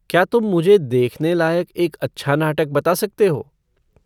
क्या तुम मुझे देखने लायक एक अच्छा नाटक बता सकते हो